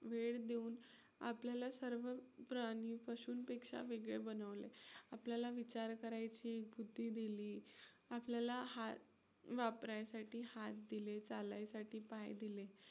वेळ देऊन आपल्याला सर्व प्राणी पशुंपेक्षा वेगळे बनवलंय. आपल्याला विचार करायची बुद्धी दिली. आपल्याला वापरायसाठी हात दिले, चालायसाठी पाय दिले.